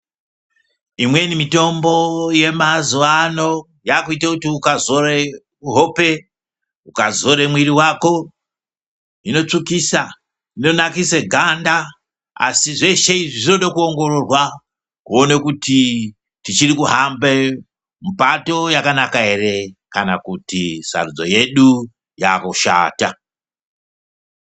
Imweni mitombo yemazuvano yakuite kuti ukazore hope, ukazore mwiri wako, inotsvukisa, inonakise ganda, Asi zveshe izvi zvinodo kuongororwa kuone kuti tichiri kuhambe mupato wakanaka ere kana kuti sarudzo yedu yakushata.